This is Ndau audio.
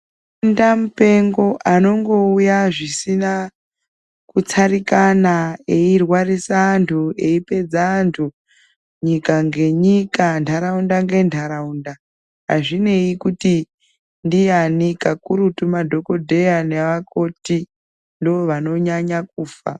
Denda mupengo anongouya zvisina kutsarikana eirwarisa antu eipedza antu nyika ngenyika ndaraunda ngendaraunda azvinei kuti ndiani kakurutu Madhokodheya nevakoti ndovanonyanya kufa.